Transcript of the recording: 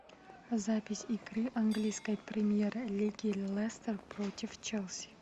запись игры английской премьер лиги лестер против челси